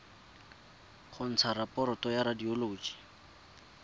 go ntsha raporoto ya radioloji